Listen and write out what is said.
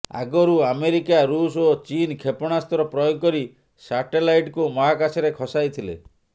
ଆଗରୁ ଆମେରିକା ଋଷ୍ ଓ ଚୀନ୍ କ୍ଷେପଣାସ୍ତ୍ର ପ୍ରୟୋଗ କରି ସାଟେଲାଇଟ୍କୁ ମହାକାଶରେ ଖସାଇଥିଲେ